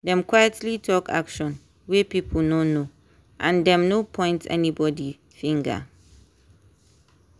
dem quietly talk action wey people no know and dem no point anybody finger.